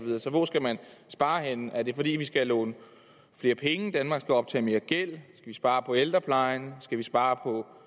hvor skal man spare henne er det fordi vi skal låne flere penge at danmark skal optage mere gæld vi spare på ældreplejen skal vi spare på